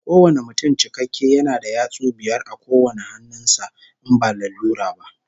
Kowane mutum cikakke yana da yatsu biyar a kowane hannun sa, in ba lalura ba